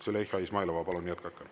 Züleyxa Izmailova, palun jätkake.